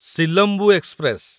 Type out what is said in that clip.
Silambu express